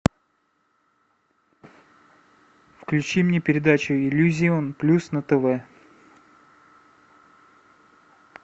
включи мне передачу иллюзион плюс на тв